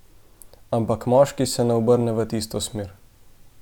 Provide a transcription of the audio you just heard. Ampak moški se ne obrne v tisto smer.